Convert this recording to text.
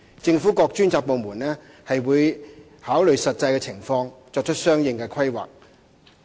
政府各專責部門會考慮實際的情況，作出相應的規劃。